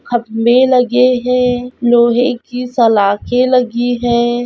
खम्बे लगे हैं लोहे की सलाखे लगी है।